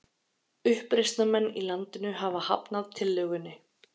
Uppreisnarmenn í landinu hafa hafnað tillögunni